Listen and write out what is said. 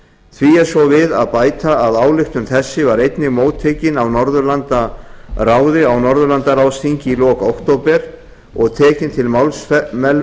því er svo við að bæta að ályktun þessi var einnig móttekin af norðurlandaráði á norðurlandaráðsþingi í lok október og tekin til